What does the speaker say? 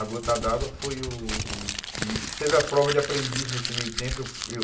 A gota d'água foi o o... Isso teve a prova de aprendiz nesse meio tempo. Eu fui eu